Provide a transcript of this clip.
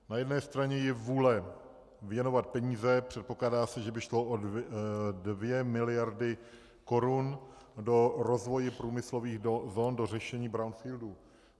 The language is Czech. Na jedné straně je vůle věnovat peníze, předpokládá se, že by šlo o dvě miliardy korun, do rozvoje průmyslových zón, do řešení brownfieldů.